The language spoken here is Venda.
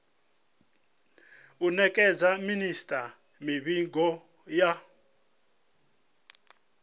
u nekedza minisita mivhigo ya